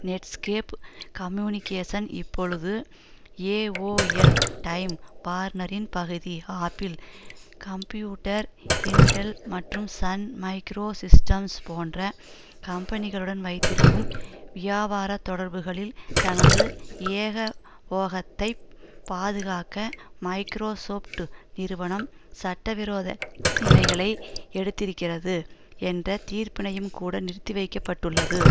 Netscape communication இப்பொழுது AOL Time வார்னரின் பகுதி ஆப்பிள் கம்ம்பியூட்டர் இன்டெல் மற்றும் சன் மைக்ரோ சிஸ்டம்ஸ் போன்ற கம்பெனிகளுடன் வைத்திருக்கும் வியாபாரத் தொடர்புகளில் தனது ஏக போகத்தைப் பாதுகாக்க மைக்ரோசொப்ட் நிறுவனம் சட்டவிரோத நிலைகளை எடுத்திருக்கிறது என்ற தீர்ப்பினையும்கூட நிறுத்தி வைக்க பட்டுள்ளது